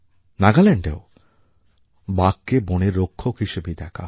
নাগাল্যাণ্ডেও বাঘকে বনের রক্ষক হিসেবেই দেখা হয়